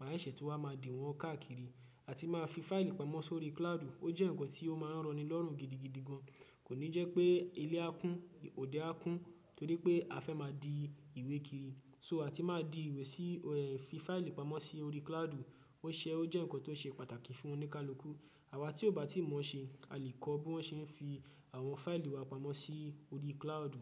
má ṣẹ̀ṣè tún máa di wọn káàkiri. Àti máa fi fáìlì pamọ́ sórí cloud ó jẹ́ nǹkan tí ó máa ń rọni lọ́rùn gidigidi gan. Kò ní jẹ́ pé ilé á kún, òde á kún torí pé a fẹ́ máa di ìwé kiri. So àti máa di ìwé sí ẹ̀ fi fáìlì pamọ́ sí orí cloud. Ó ṣe ó jẹ́ nǹkan tó ṣe pàtàkì fún oníkálukú. Àwa tí ò bá tí mọ̀ ọ́n ṣe, a lè kọ́ bí wọ́n ṣe ń fi àwọn fáìlì wa pamọ́ sí orí cloud.